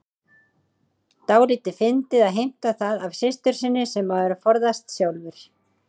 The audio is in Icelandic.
Dálítið fyndið að heimta það af systur sinni sem maður forðast sjálfur.